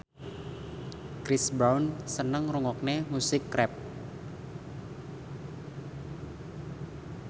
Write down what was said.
Chris Brown seneng ngrungokne musik rap